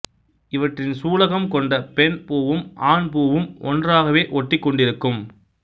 இவற்றின் சூலகம் கொண்ட பெண் பூவும் ஆண் பூவும் ஒன்றாவே ஒட்டிக்கொண்டிருக்கும்